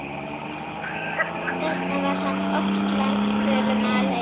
Þarna var hann oft langdvölum aleinn.